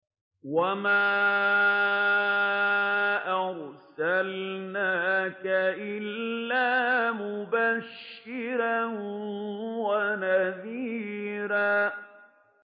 وَمَا أَرْسَلْنَاكَ إِلَّا مُبَشِّرًا وَنَذِيرًا